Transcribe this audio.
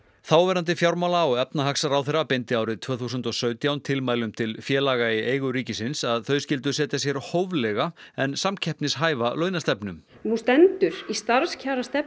þáverandi fjármála og efnahagsráðherra beindi árið tvö þúsund og sautján tilmælum til félaga í eigu ríkisins að þau skyldu setja sér hóflega en samkeppnishæfa launastefnu nú stendur í starfskjarastefnu